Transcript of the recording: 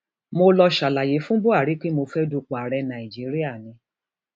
mo lọọ ṣàlàyé fún buhari pé mo fẹẹ dupò ààrẹ nàíjíríà ni